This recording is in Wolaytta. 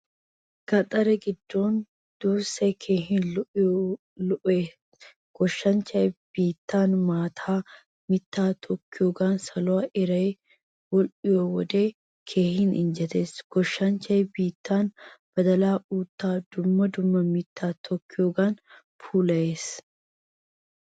Gaxaree giddon duussay keehin lo'iyoy goshshanchchay biittan maataa, miittaa tookiyogan saluwaa iray wodhdhiyo wode keehin injjetees. Goshshanchchay biittan badaala, uutta dumma dumma mitta tokkiyogan puulayees.